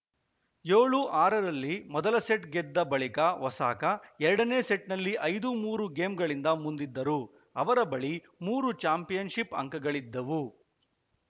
ಏಳು ಆರರಲ್ಲಿ ಮೊದಲ ಸೆಟ್‌ ಗೆದ್ದ ಬಳಿಕ ಒಸಾಕ ಎರಡನೇ ಸೆಟ್‌ನಲ್ಲಿ ಐದು ಮೂರು ಗೇಮ್‌ಗಳಿಂದ ಮುಂದಿದ್ದರು ಅವರ ಬಳಿ ಮೂರು ಚಾಂಪಿಯನ್‌ಶಿಪ್‌ ಅಂಕಗಳಿದ್ದವು